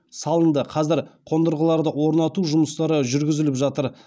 салынды қазір қондырғыларды орнату жұмыстары жүргізіліп жатыр